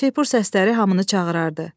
Şeypur səsləri hamını çağırardı.